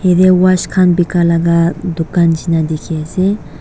yate watch khan bikai laga dukan nishina dikhi ase.